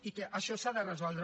i que això s’ha de resoldre